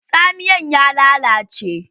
Tsamiyan ya lalace.